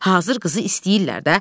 Hazır qızı istəyirlər də.